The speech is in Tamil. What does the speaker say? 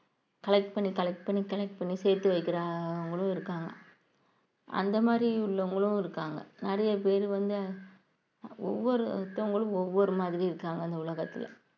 collect பண்ணி collect பண்ணி collect பண்ணி சேர்த்து வைக்கிறவங்களும் இருக்காங்க அந்த மாரி உள்ளவங்களும் இருக்காங்க நிறைய பேர் வந்து ஒவ்வொருத்தங்களும் ஒவ்வொரு மாதிரி இருக்காங்க இந்த உலகத்துல